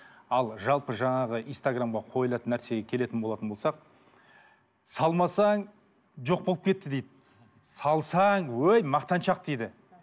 ал жалпы жаңағы инстаграмға қойылатын нәрсеге келетін болатын болсақ салмасаң жоқ болып кетті дейді салсаң өй мақтаншақ дейді